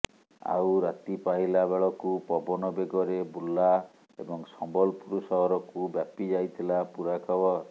ଆଉ ରାତିପାହିଲା ବେଳକୁ ପବନ ବେଗରେ ବୁର୍ଲା ଏବଂ ସମ୍ବଲପୁର ସହରକୁ ବ୍ୟାପି ଯାଇଥିଲା ପୁରା ଖବର